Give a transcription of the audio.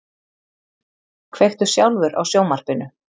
Kveiktu sjálfur á sjónvarpinu.